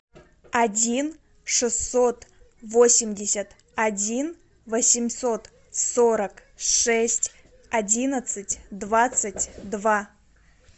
один шестьсот восемьдесят один восемьсот сорок шесть одиннадцать двадцать два